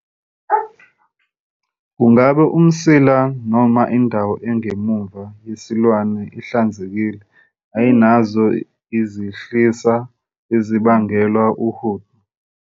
Kungabe umsila noma indawo engemuva yesilwane ihlanzekile ayinazo izihlisa ezibangelwa wuhudo?